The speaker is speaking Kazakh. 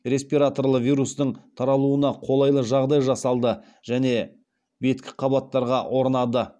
респираторлы вирустың таралуына қолайлы жағдай жасалды және беткі қабаттарға орнады